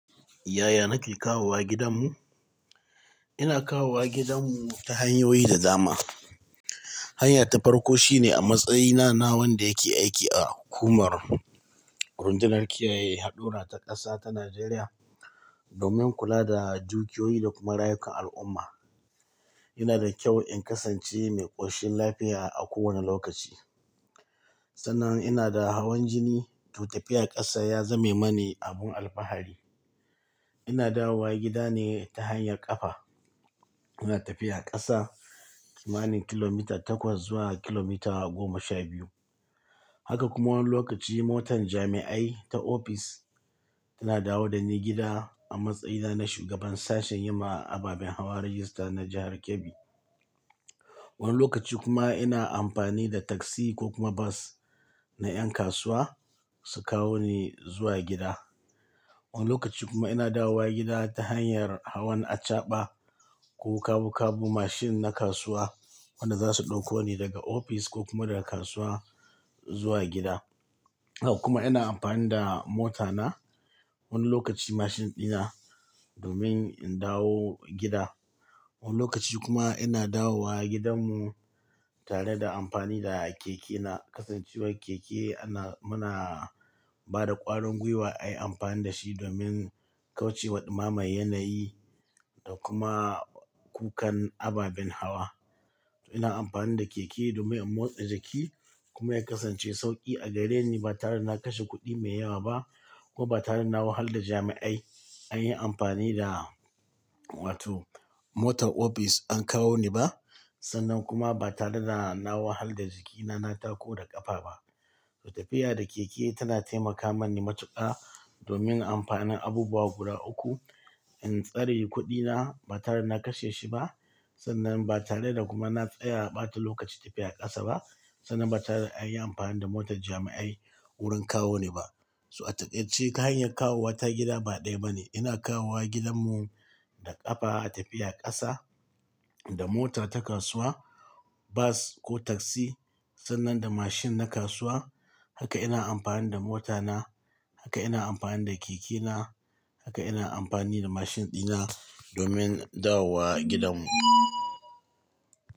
Yaya nake kawowa gidanmu? Ina kawowa gidanmu ta hanyoyi da dama. Hanya ta farko shine a matsayina na wanda yake aiki a hukumar rundunar kiyaye haɗura ta ƙasa ta Najeriya domin kula da dukiyoyi da kuma rayukan al'umma. Yana da kyau in kasance mai ƙoshin lafiya a kowane lokaci. Sannan ina da hawan jini to tafiya ƙasa ya zame mani abun alfahari. Ina dawowa gida ne ta hanyar ƙafa. Ina tafiya ƙasa kimanin kilomita takwas zuwa kilomita goma sha biyu. Haka kuma wani lokaci motar jami'ai ta ofis tana dawo da ni gida a matsayina na shugaban sashen yi ma ababen hawa rajista na jahar Kebbi. Wani lokaci kuma ina amfani da taksi ko kuma bas na ƴan kasuwa su kawo ni zuwa gida. Wani lokaci kuma ina dawowa gida ta hanyar hawan acaɓa ko kabu kabu mashin na kasuwa wanda zasu ɗauko ni daga ofis ko kuma daga kasuwa zuwa gida. Hak kuma ina amfani da mota na wani lokaci mashin ɗina domin in dawo gida. Wani lokaci kuma ina dawowa gidanmu tare da amfani da keke na. Kasancewar keke ana, muna bada ƙwarin gwiwa ayi amfani da shi domin kauce wa ɗumame yanayi da kuma kukan ababen hawa. To ina amfani da keke domin in motsa jiki kuma ya kasance sauƙi a gareni ba tare da na kashe kuɗi mai yawa ba ko ba tare da na wahala da jami'ai an yi amfani da, wato motar ofis an kawo ni ba. Sannan kuma ba tare da na wahala da jikina na tako da ƙafa ba. To tafiya da keke tana taimaka mani matuƙa domin amfanin abubuwa guda uku. In tsare kuɗina ba tare da na kashe shi ba. Sannan ba tare da kuma na tsaya ɓata lokaci tafiya ƙasa ba. Sannan ba tare da an yi amfani da motar jami'ai wurin kawo ni ba. So a takaiceb ce ta hanyar kawowa ta gida ba ɗaya bane. Ina kawowa gidanmu da ƙafa a tafiya ƙasa, da motar ta kasuwa, bas ko taksi sannan da mashin na kasuwa. Haka ina amfani da mota na. Haka ina amfani da keke na. Haka ina amfani da mashin ɗina domin dawo gidanmu.